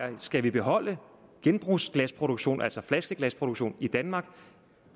de skal beholde genbrugsglasproduktionen altså flaskeglasproduktion i danmark